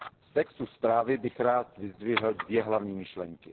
Z textu zprávy bych rád vyzdvihl dvě hlavní myšlenky.